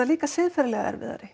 líka siðferðislega erfiðari